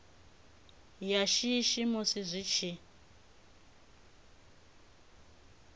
ya shishi musi zwi tshi